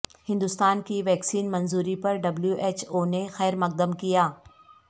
ہندوستان کی ویکسین منظوری پر ڈبلیو ایچ او نے خیرمقدم کیا